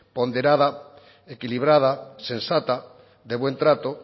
ponderada equilibrada sensata de buen trata